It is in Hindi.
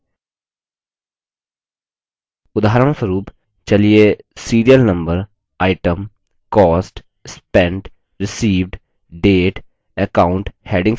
उदाहरणस्वरूप चलिए serial number item cost spent received date account headings वाली cells को format करते हैं